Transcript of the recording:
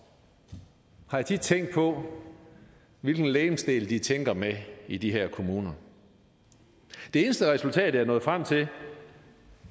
har jeg tit tænkt på hvilken legemsdel de tænker med i de her kommuner det eneste resultat jeg er nået frem til